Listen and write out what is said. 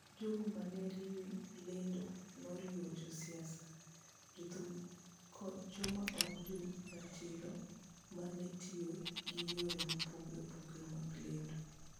Jogo ma ne riwe lwedo noriwo josiasa, jothum, koda joma ok jo ratiro ma ne tiyo gi yore mopogore opogore mag lendo.